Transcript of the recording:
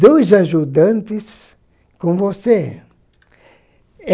Dois ajudantes com você.